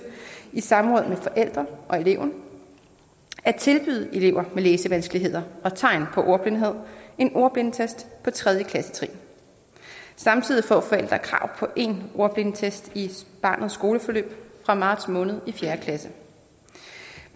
i samråd med forældre og eleven at tilbyde elever med læsevanskeligheder og tegn på ordblindhed en ordblindetest på tredje klassetrin samtidig får forældre krav på en ordblindetest i barnets skoleforløb fra marts måned i fjerde klasse